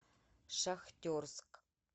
шахтерск